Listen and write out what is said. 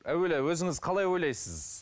әуелі өзіңіз қалай ойлайсыз